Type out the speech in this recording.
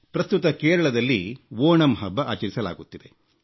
ಪ್ರಸ್ತುತ ಕೇರಳದಲ್ಲಿ ಓಣಂ ಹಬ್ಬ ಆಚರಿಸಲಾಗುತ್ತಿದೆ